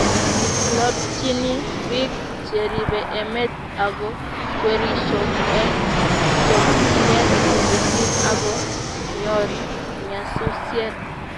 lobptyini biik cheribe emet ago kwerisho eng chokchinet missing ago nyoor nyasusiet